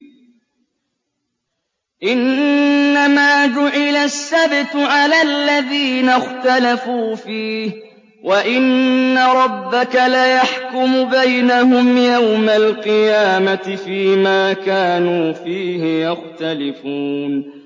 إِنَّمَا جُعِلَ السَّبْتُ عَلَى الَّذِينَ اخْتَلَفُوا فِيهِ ۚ وَإِنَّ رَبَّكَ لَيَحْكُمُ بَيْنَهُمْ يَوْمَ الْقِيَامَةِ فِيمَا كَانُوا فِيهِ يَخْتَلِفُونَ